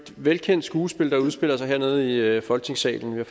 velkendt skuespil der udspiller sig hernede i folketingssalen vi